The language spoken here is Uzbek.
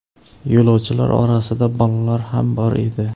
Yo‘lovchilar orasida bolalar ham bor edi.